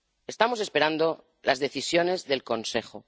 Estamos esperando las decisiones del Consejo.